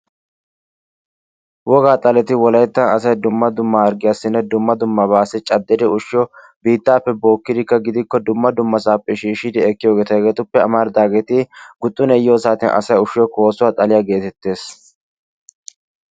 Wogaa xaleti wolaytta asay dumma dumma harggiyaassinne dumma dummabaassi caddir ushiyo biittaappe bookkidikka gidikko dumma dummasaappe shiishidi ekkiyogeeta hegeetuppe amaridaageeti guxunee yiyoo saatiyan asay ushiyo koossuwa xaaliya gettettees.